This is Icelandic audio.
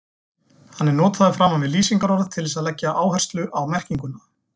Hann er notaður framan við lýsingarorð til þess að leggja áherslu á merkinguna.